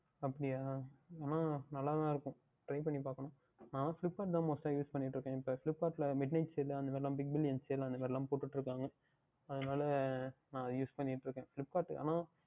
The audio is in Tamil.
அப்படியா ஆனால் நன்றகா தான் இருக்கும் Try பண்ணி பார்க்கவேண்டும் நான் Flipkart தான் Most டாக Use பண்ணிக்கொண்டு இருக்கேன் இப்பொழுது Flipkart யில் Midnight Sale அதற்கு அப்புறம் Big billion sale அது எல்லாம் போட்டுகொண்டு இருக்கார்கள் அதனால் தான் நான் Use பண்ணிக்கொண்டு இருக்கேன் Flipkart ஆனால்